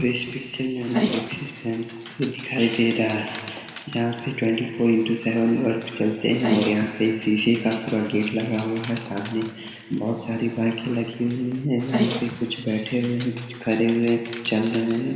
इस पिक्चर मै हमें एक्ससिस बैंक दिखाई दे रहा है जहां पे twenty four into seven work चलते हैं और यहाँ पे शीशे का पूरा गेट लगा हुआ है। सामने बोहोत सारे बाइक लगे हुए हैं। यहाँ पे कुछ बैठे हुए हैं कुछ खरे हैं कुछ चल रहे हैं।